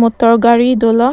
motor gari dolo